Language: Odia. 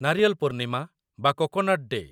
ନାରିୟଲ୍ ପୂର୍ଣ୍ଣିମା ବା କୋକୋନଟ୍ ଡେ